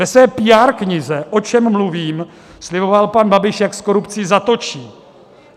Ve své PR knize O čem mluvím sliboval pan Babiš, jak s korupcí zatočí.